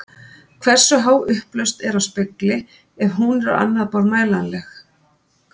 Hversu há upplausn er á spegli og ef hún er á annað borð mælanleg?